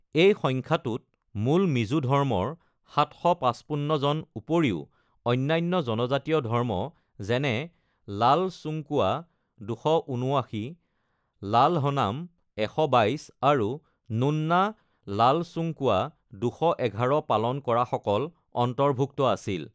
এই সংখ্যাটোত মূল মিজো ধৰ্মৰ (৭৫৫ জন) উপৰিও, অন্যান্য জনজাতীয় ধৰ্ম যেনে লালচুংকুৱা (২৭৯), লালহনাম (১২২), আৰু নুন্না লালচুংকুৱা (২১১) পালন কৰাসকল অন্তৰ্ভুক্ত আছিল।